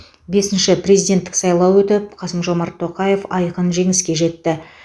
бесінші президенттік сайлау өтіп қасым жомарт тоқаев айқын жеңіске жетті